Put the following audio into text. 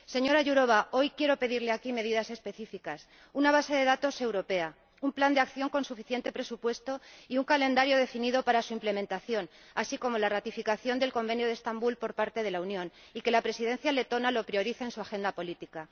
Señora Jourová, hoy quiero pedirle aquí medidas específicas una base de datos europea, un plan de acción con suficiente presupuesto y un calendario definido para su implementación, así como la ratificación del Convenio de Estambul por parte de la Unión, y que la Presidencia letona lo priorice en su agenda política.